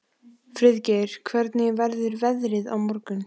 Friðgeir, hvernig verður veðrið á morgun?